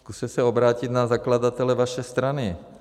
Zkuste se obrátit na zakladatele vaší strany.